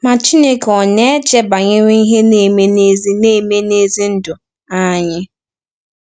Ma Chineke ọ̀ na-eche banyere ihe na-eme n’ezi na-eme n’ezi ndụ anyị?